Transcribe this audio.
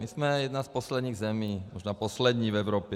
My jsme jedna z posledních zemí, možná poslední v Evropě.